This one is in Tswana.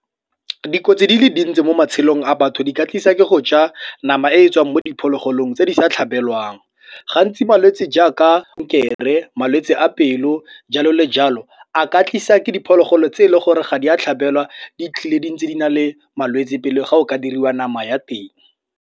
Dikotsi di le dintsi mo matshelong a batho di ka tlisa ke go ja nama e e tswang mo diphologolong tse di sa tlhabelwang. Gantsi malwetsi jaaka malwetsi a pelo, jalo le jalo, a ka tlisa ke diphologolo tse e leng gore ga di a tlhabelwa di tlile di ntse di na le malwetsi pele ga o ka diriwa nama ya teng.